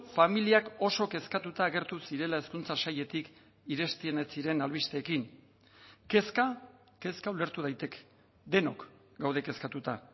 familiak oso kezkatuta agertu zirela hezkuntza sailetik iresten ez ziren albisteekin kezka kezka ulertu daiteke denok gaude kezkatuta